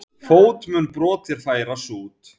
Fót mun brot þér færa sút.